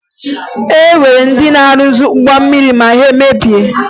E nwere ndị na-arụzi ụgbọ mmiri ma ihe mebie